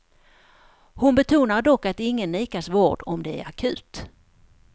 Hon betonar dock att ingen nekas vård om det är akut.